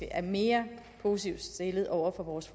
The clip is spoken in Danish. er mere positivt stillet over for vores